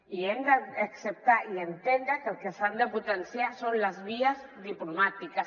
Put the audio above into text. i hem d’acceptar i entendre que el que s’han de potenciar són les vies diplomàti·ques